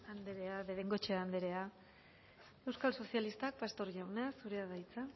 andrea de bengoechea andrea euskal sozialistak pastor jauna zurea da hitza